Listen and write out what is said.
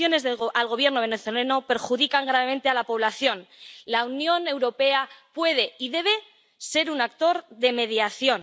Las sanciones al Gobierno venezolano perjudican gravemente a la población. La Unión Europea puede y debe ser un actor de mediación.